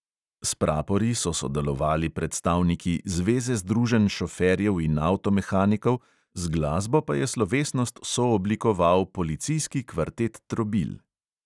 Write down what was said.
S prapori so sodelovali predstavniki zveze združenj šoferjev in avtomehanikov, z glasbo pa je slovesnost sooblikoval policijski kvartet trobil.